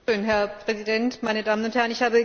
Herr Präsident, meine Damen und Herren!